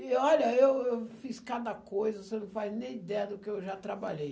E olha, eu eu fiz cada coisa, você não faz nem ideia do que eu já trabalhei.